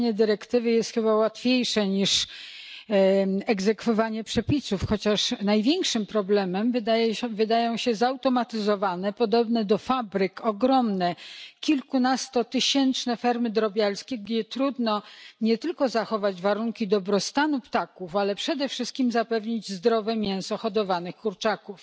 Pisanie dyrektywy jest chyba łatwiejsze niż egzekwowanie przepisów, chociaż największym problemem wydają się zautomatyzowane, podobne do fabryk, ogromne, kilkunastotysięczne fermy drobiarskie, gdzie trudno nie tylko zachować warunki dobrostanu ptaków, ale przede wszystkim zapewnić zdrowe mięso hodowanych kurczaków.